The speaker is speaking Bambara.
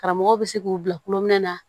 Karamɔgɔw bɛ se k'u bila kulon minɛn la